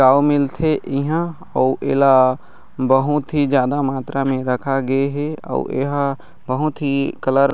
पाऊ मिलथे ईहा अऊ एला बहुत ही ज्यादा मात्रा में रखा गे हे आऊ एहा बहुत ही कलर --